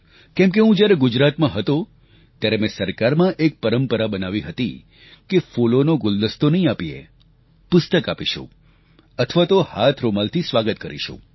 કેમ કે હું જ્યારે ગુજરાતમાં હતો ત્યારે મેં સરકારમાં એક પરંપરા બનાવી હતી કે ફૂલોનો ગુલદસ્તો નહીં આપીએ પુસ્તક આપીશું અથવા તો હાથરૂમાલથી સ્વાગત કરીશું